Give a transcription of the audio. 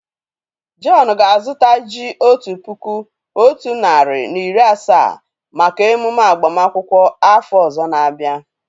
John ga á zuta ji otu puku otu nari na iri asaa maka emume agbama akwukwo áfọ ozor na abia